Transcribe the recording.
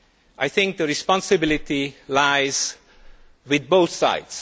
I think the responsibility lies with both sides.